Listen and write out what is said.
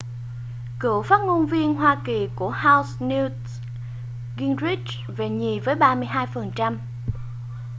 cựu phát ngôn viên hoa kỳ của house newt gingrich về nhì với 32 phần trăm